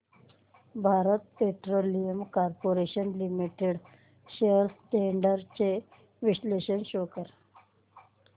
Bharat Petroleum Corporation Limited shares trends चे विश्लेषण show कर